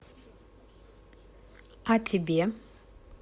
а тебе